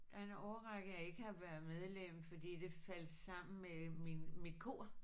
Der er en årrække jeg ikke har været medlem fordi det faldt sammen med min mit kor